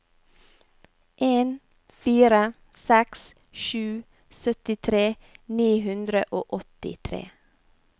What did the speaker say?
en fire seks sju syttitre ni hundre og åttitre